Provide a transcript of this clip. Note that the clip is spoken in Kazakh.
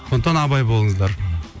сондықтан абай болыңыздар